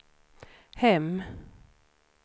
hem